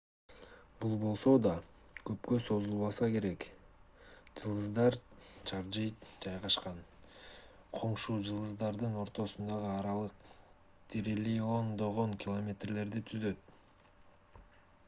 бул болсо да көпкө созулбаса керек жылдыздар чаржайыт жайгашкан коңшу жылдыздардын ортосундагы аралык триллиондогон километрлерди түзөт